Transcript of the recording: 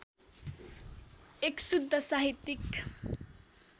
१ शुद्ध साहित्यिक